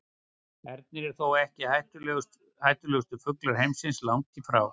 Ernir eru þó ekki hættulegustu fuglar heimsins, langt í frá.